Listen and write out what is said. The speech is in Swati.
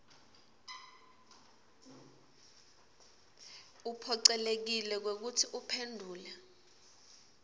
uphocelekile kwekutsi uphendvule